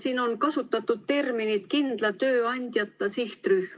Siin on kasutatud terminit "kindla tööandjata sihtrühm".